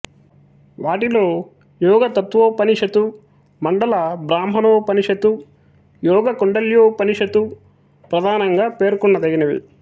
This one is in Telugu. వాటిలో యోగతత్వోపనిషతు మండల బ్రాహ్మాణోపనిషతు యోగకుండల్యోపనిషతు ప్రధానంగా పేర్కొన దగినవి